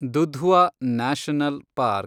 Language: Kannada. Dudhwa national park